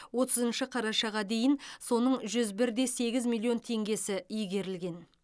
отызыншы қарашаға дейін соның жүз бір де сегіз миллион теңгесі игерілген